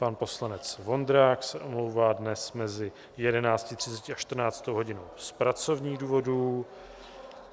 Pan poslanec Vondrák se omlouvá dnes mezi 11.30 a 14. hodinou z pracovních důvodů.